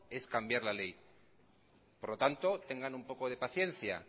es cambiar la ley por lo tanto tengan un poco de paciencia